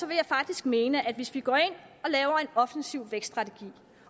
vil jeg faktisk mene at hvis vi går ind og laver en offensiv vækststrategi